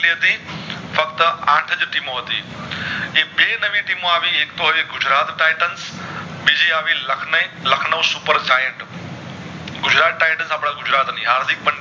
ફક્ત આઠ જ team હતી એ બે નવી team આવી એક તો હતી ગુજરાત Titans બીજી આવી લાખનય લખનવ super ગુજરાત Titans આપડા ગુજરાત ની